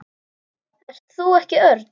Ert þú ekki Örn?